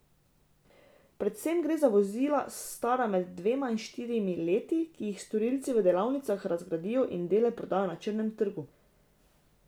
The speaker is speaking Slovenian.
Predvsem gre za vozila stara med dvema in štirimi leti, ki jih storilci v delavnicah razgradijo in dele prodajo na črnem trgu.